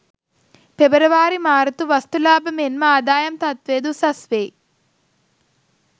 පෙබරවාරි මාර්තු වස්තු ලාබ මෙන්ම ආදායම් තත්ත්වය ද උසස් වෙයි.